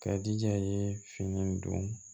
Ka di a ye fini don